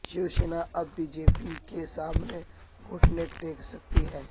شیوسینا اب B J P کے سامنے گھٹنے ٹیک سکتی ہے